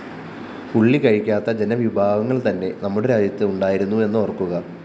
ഉള്ളി കഴിക്കാത്ത ജനവിഭാഗങ്ങള്‍ തന്നെ നമ്മുടെ രാജ്യത്ത്‌ ഉണ്ടായിരുന്നു എന്നോര്‍ക്കുക